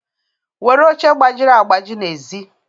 were oche gbajiri agbaji n'èzí